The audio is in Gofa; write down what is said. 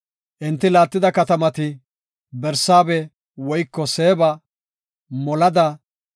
Enti laattida katamati, Barsaabe woyko Seeba, Molada,